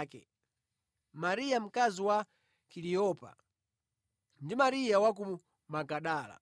ake, Mariya mkazi wa Kaliyopa ndi Mariya wa ku Magadala.